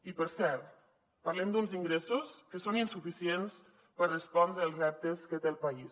i per cert parlem d’uns ingressos que són insuficients per respondre als reptes que té el país